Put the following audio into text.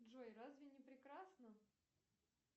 джой разве не прекрасно